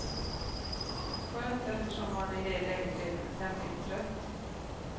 Skönt, eftersom man i det läget redan är tämligen trött.